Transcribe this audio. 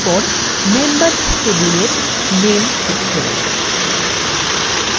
এরপর members table name ক্ষেত্র